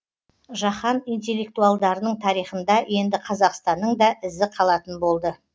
жаһан интеллектуалдарының тарихында енді қазақстанның да ізі қалатын болды